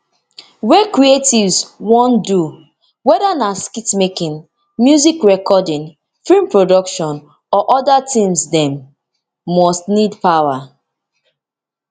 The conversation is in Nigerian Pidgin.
wey creatives wan do weda na skitmaking music recording film production or oda tins dem must need power